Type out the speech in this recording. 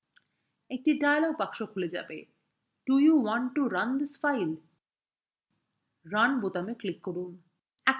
একটি dialog বক্সটি খুলবে do you want to run this file